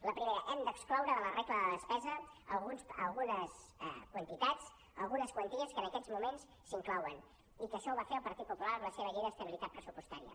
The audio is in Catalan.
la primera hem d’excloure de la regla de despesa algunes quantitats algunes quanties que en aquests moments s’hi inclouen i que això ho va fer el partit popular amb la seva llei d’estabilitat pressupostària